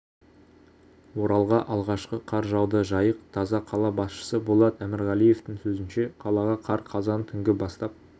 оралға алғашқы қар жауды жайық таза қала басшысы болат әмірғалиевтің сөзінше қалаға қар қазан түнгі бастап